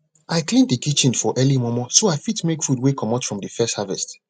i clean de kitchen for early mormor so i fit make food wey comot from de first harvest